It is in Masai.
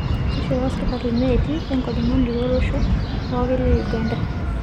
Keishooyo serkali neeti enkojong'ani tolosho pookin le Uganda.